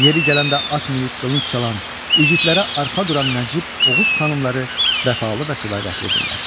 Yeri gələndə at minib qılınc çalan, igidlərə arxa duran Nəcib Oğuz xanımları vəfalı və sədaqətlidirlər.